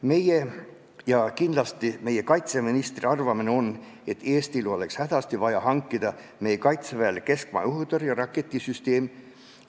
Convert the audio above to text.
Meie – ja kindlasti ka meie kaitseministri – arvamine on, et Eestil oleks hädasti vaja Kaitseväele hankida keskmaa õhutõrje-raketisüsteem.